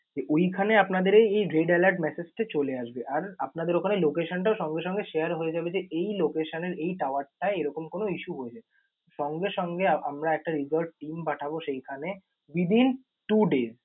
ওইখানে আপনাদের এই red alert message চলে আসবে। আর আপনাদের ওখানে location টাও সঙ্গে সঙ্গে share হয়ে যাবে যে এই location এর এই tower টায় এরকম কোন issue হয়েছে। সঙ্গে সঙ্গে আমরা একটা recover team পঠাবো সেইখানে within two days ।